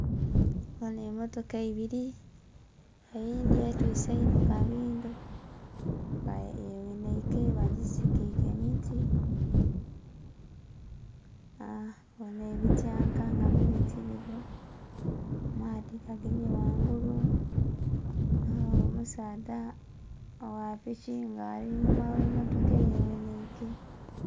Ghanho emmotoka ibili eyindhi etwise inho kabindho nga yeghenheike bagisigike emiti. Ghanho ebityanka nga bibitirivu, amaadhi gagemye ghangulu. Ghabagho omusaadha ogha piki nga ali inhuma gh'emmotoka eyeghenheike.